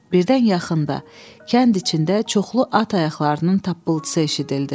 Birdən yaxında kənd içində çoxlu at ayaqlarının tappıltısı eşidildi.